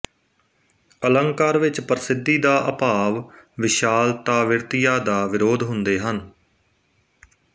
ਅਲੰਕਾਰ ਵਿੱਚ ਪ੍ਰਸਿੱਧੀ ਦਾ ਅਭਾਵ ਵਿਸ਼ਾਲਤਾਵਿਰਤੀਆ ਦਾ ਵਿਰੋਧ ਹੁੰਦੇ ਹਨ